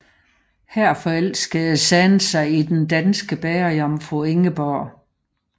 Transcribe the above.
Her forelskede San sig i den danske bagerjomfru Ingeborg